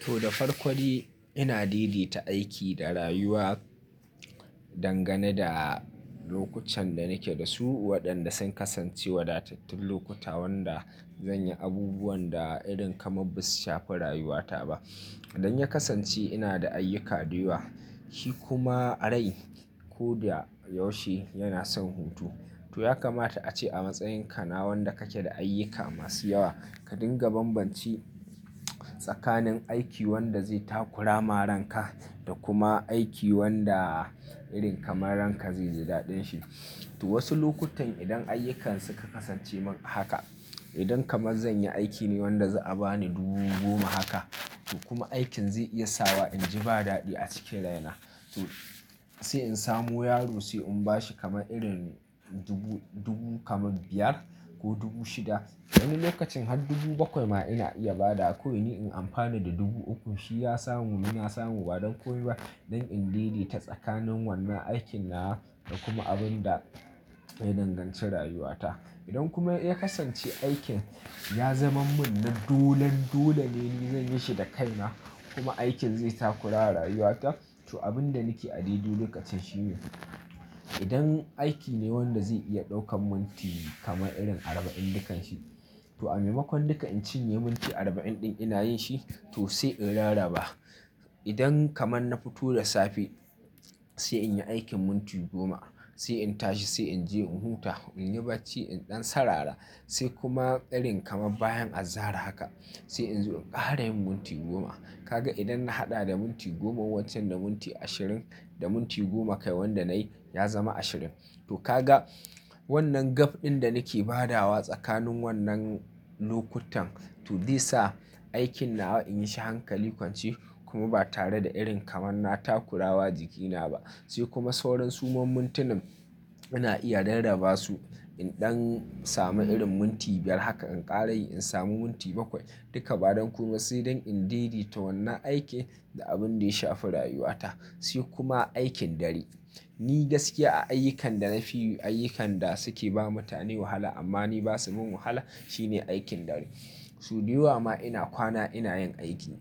To da farko dai ina daidaita aiki da rayuwa dangane da lokacin da nake da su waɗanda sun kasance wadatattun lokuta wanda zan yi abubuwan da irin kamar ba su shafi rayuwata ba. Idan ya kasance ina da ayyuka da yawa shi kuma rai ko da yaushe yana son hutu. To ya kamata ace a matsayin ka na wanda kake da ayyuka masu yawa ka dinga bambanci tsakanin aiki wanda zai takura ma rainka da kuma aiki wanda irin kamar rain ka zai ji daɗin shi. To wasu lokutan idan ayyukan suka kasance mun haka idan kamar zan yi aiki ne wanda za'a bani dubu goma haka to kuma aikin zai iya sa wa in ji ba daɗi a cikin rai na. To sai in samu yaro sai in bashi kamar irin dubu, dubu kamar biyar ko dubu shida. Wani lokacin har dubu bakwai ma ina iya ba dawa kawai ni in amfani da dubu uku. Shi ya samu ni na samu ba don komai ba don in daidaita tsakanin wannan aikin nawa da kuma abun da ya danganci rayuwata. Idan kuma ya kasance aikin ya zama mun na dolen dole ne ni zan yi shi da kaina kuma aikin zai takura wa rayuwata. To abin da nake a daidai lokacin shine idan aiki ne wanda zai iya ɗaukan minti kamar irin arba'in dukan shi to a maimakon duka in cinye minti arba'in ɗin ina yin shi to sai in rarraba. Idan kamar na fito da safe sai in yi aikin minti goma sai in tashi sai in je in huta in yi bacci in ɗan sarara sai kuma irin kamar bayan azahar haka sai in zo in ƙara yin minti goma. Kaga idan na haɗa da minti goma wancan da minti ashirin da minti goma kai wanda na yi ya zama ashirin. To ka ga wannan gap ɗin da nake badawa tsakanin wannan lokutan to zai sa aikin nawa in yi shi hankali kwance kuma ba tare da irin kamar na takura wa jikina ba. Sai kuma sauran suman mintinin ina iya rarraba su in ɗan samu irin minti biyar haka in ƙara yi in samu minti bakwai duka badan komai sai dan in daidaita wannan aikin da abin da ya shafi rayuwata. Sai kuma aikin dare ni gaskiya a ayyukan da na fi yi ayyukan da suke ba mutane wahala amma ni basa min wahala shine aikin dare. To da yawa ma ina kwana ina yin aiki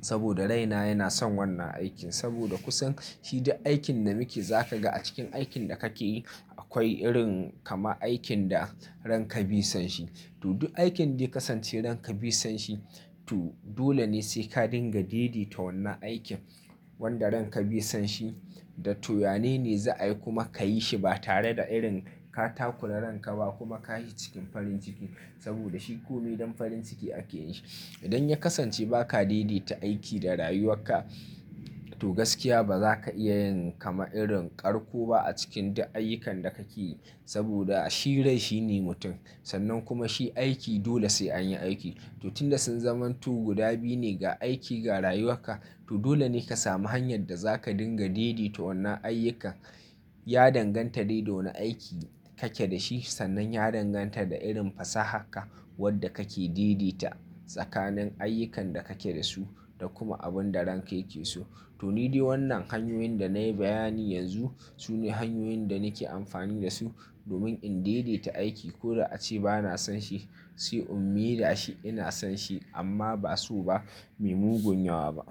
saboda raina yana son wannan aikin saboda kusan shi duk aikin da muke za ka ga a cikin aikin da kake yi akwai irin kamar aikin da rainka bi son shi. To duk aikin da ya kasance ranka bi son shi to dole ne sai ka dinga didi ta wannan aikin wanda ranka bi son shi da to yanene za a yi kuma ka yi shi ba tare da irin ka takura ranka ba kuma ka yi cikin farin ciki saboda shi komai don farin ciki ake yin shi. Idan ya kasance ba ka daidaita aiki da rayuwarka to gaskiya ba za ka iya yin kamar irin ƙarko ba a cikin duk ayyukan da kake yi saboda shi rai shi ne mutum. Sannan kuma shi aiki dole sai an yi aiki. To tun da sun zamanto guda biyu ne ga aiki ga rayuwarka to dole ne ka samu hanyar da za ka dinga daidaita wannan ayyukan ya danganta dai da wane aiki kake da shi sannan ya danganta da irin fasahar ka wadda kake daidaita tsakanin ayyukan da kake da su da kuma abun da ranka yake so. To ni dai wannan hanyoyin da na yi bayani yanzu su ne hanyoyin da nake amfani da su domin in daidaita aiki ko da ace ba na son shi sai in mai da shi ina son shi amma ba so ba mai mungun yawa ba.